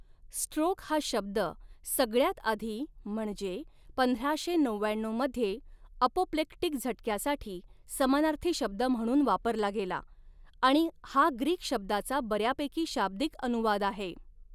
Stroke हा शब्द सगळ्यात आधी म्हणजे पंधराशे नवव्याण्णऊ मध्ये अपोप्लेक्टिक झटक्यासाठी समानार्थी शब्द म्हणून वापरला गेला आणि हा ग्रीक शब्दाचा बर्यापैकी शाब्दिक अनुवाद आहे.